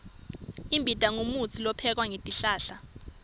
imbita ngumutsi lophekwe ngetihlahla